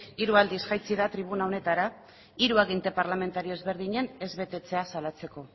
hiru aldiz jaitsi da tribuna honetara hiru aginte parlamentarioz ezberdinen ez betetzea salatzeko